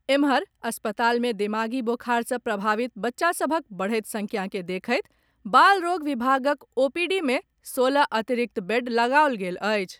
एम्हर, अस्पताल मे दिमागी बोखार सॅ प्रभावित बच्चा सभक बढैत संख्या के देखैत बाल रोग विभागक ओपीडी मे सोलह अतिरिक्त बेड लगाओल गेल अछि।